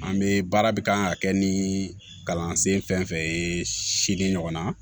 An bɛ baara bi kan ka kɛ ni kalansen fɛn fɛn ye si ɲɔgɔnna